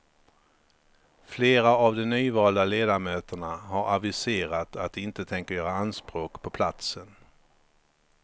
Flera av de nyvalda ledamöterna har aviserat att de inte tänker göra anspråk på platsen.